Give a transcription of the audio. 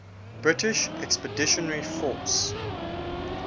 british expeditionary force